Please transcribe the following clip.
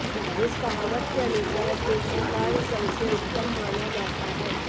इस कहावत के अनुसार कृषि कार्य सबसे उत्तम माना जाता है